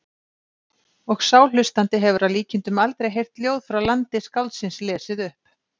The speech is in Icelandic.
Og sá hlustandi hefur að líkindum aldrei heyrt ljóð frá landi skáldsins lesið upp.